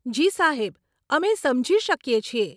જી સાહેબ, અમે સમજી શકીએ છીએ.